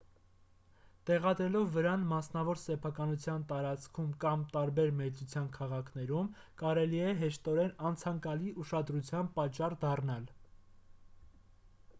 տեղադրելով վրան մասնավոր սեփականության տարածքում կամ տարբեր մեծության քաղաքներում կարելի է հեշտորեն անցանկալի ուշադրության պատճառ դառնալ